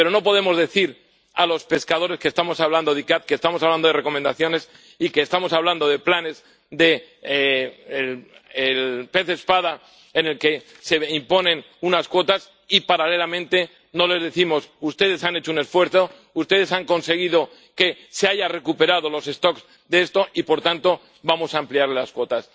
Pero no podemos decir a los pescadores que estamos hablando de la CICAA, que estamos hablando de recomendaciones y que estamos hablando de planes del pez espada, en los que se imponen unas cuotas, y, paralelamente, no les decimos ustedes han hecho un esfuerzo, ustedes han conseguido que se hayan recuperado las poblaciones de esto y, por tanto, vamos a ampliarles las cuotas.